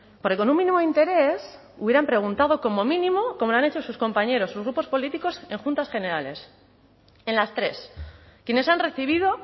porque con un mínimo interés hubieran preguntado como mínimo como lo han hecho sus compañeros sus grupos políticos en juntas generales en las tres quienes han recibido